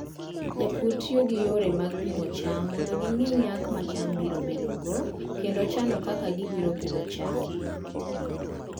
Jopur tiyo gi yore mag pimo cham mondo ging'e nyak ma cham biro bedogo kendo chano kaka gibiro pidho cham.